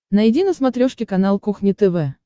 найди на смотрешке канал кухня тв